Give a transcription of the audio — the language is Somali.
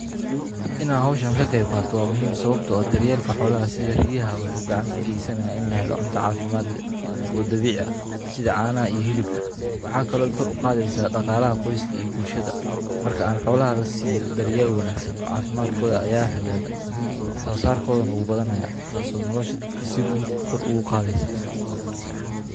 Ina hawshaan ka qeyb qatoo muhiim sababtoo ah daryeelka xoolaha. Sida riyaha wuxuu gacanka geysanaa in la helo cunto caafimaad leh oo dabiic ah sida caana iyo hilibka. Waxaa kaloo kor u qaadeysaa dhaqaalaha qoyska iyo bulshada. Markaan xoolaha la siiyo daryeello wanaagsan, caafimaadkooda ayaa hagaaga wax xasaar koodan ugu badanaya taasoo nolosha dadka si guud kor uu qaadeysa.